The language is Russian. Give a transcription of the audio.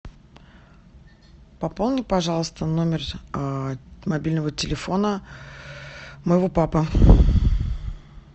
пополни пожалуйста номер мобильного телефона моего папы